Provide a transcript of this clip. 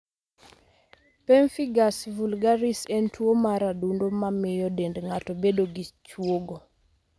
Pemphigus vulgaris en tuwo mar adundo ma miyo dend ng'ato bedo gi chwogo.